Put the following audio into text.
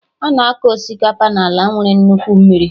Ana akọ Osikapa n'ala nwere nnukwu mmiri